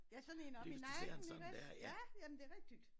Ja sådan én oppe i nakken ikke også? Ja jamen det rigtigt